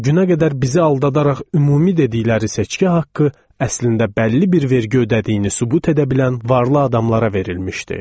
O günə qədər bizi aldadaraq ümumi dedikləri seçki haqqı əslində bəlli bir vergi ödədiyini sübut edə bilən varlı adamlara verilmişdi.